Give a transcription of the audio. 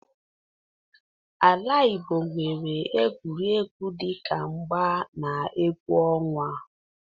Ala Igbo nwere egwuregwu dị ka mgba na egwu ọnwa.